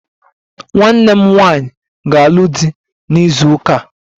Nwanne m nwanyị ga-alụ di na izu ụka a